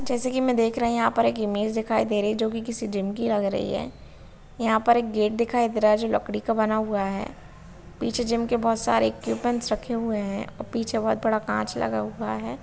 जैसे कि हम देख रहे हैं यहाँ पर एक इमेज दिखाई दे रही है जो कि किसी जिम की लग रही है। यहाँ पर एक गेट दिखाई दे रहा है जो लकड़ी का बना हुआ है। पीछे जिम के बोहोत सारे इक्विपमेंट्स रखे हुए हैं। और पीछे बहुत बड़ा कांच लगा हुआ है।